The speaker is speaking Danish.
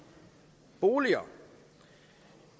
boliger